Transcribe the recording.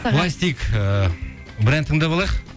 былай істейік ііі бір ән тыңдап алайық